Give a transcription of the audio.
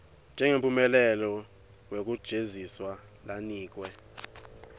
njengemphumela wekujeziswa lanikwe